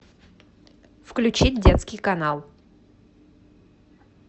включить детский канал